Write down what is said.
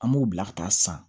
An m'o bila ka taa san